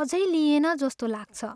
अझै लिइएन जस्तो लाग्छ।